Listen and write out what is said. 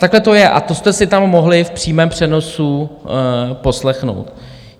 Takhle to je a to jste si tam mohli v přímém přenosu poslechnout.